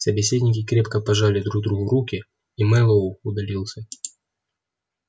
собеседники крепко пожали друг другу руки и мэллоу удалился